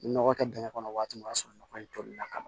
Nɔgɔ kɛ dingɛ kɔnɔ waati min o y'a sɔrɔ nɔgɔ in toli la ka ban